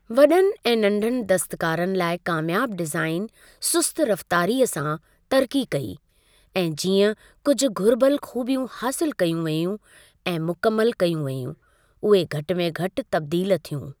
वॾनि ऐं नंढनि दस्तकारनि लाइ कामयाबु डिज़ाइन सुस्त रफ़्तारीअ सां तरक़ी कई ऐं जीअं कुझु घुरिबल खूबियूं हासिलु कयूं वेयूं ऐं मुकमिलु कयूं वेयूं उहे घटि में घटि तब्दील थियूं।